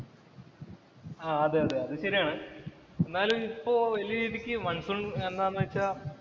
ആഹ് അതേ, അതെ അത് ശരിയാണ്. എന്നാലും ഇപ്പൊ വല്യ രീതിക്ക് മണ്‍സൂണ്‍ എന്താന്ന് വച്ചാല്‍